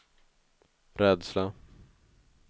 rädsla